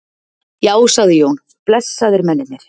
Já, sagði Jón, blessaðir mennirnir.